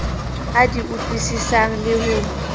a di utlwisisang le ho